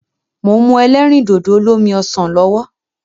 Mò ń mu ẹlẹ́rìndòdò olómi ọsàn lọ́wọ́.